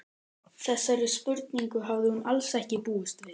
Þessari spurningu hafði hún alls ekki búist við.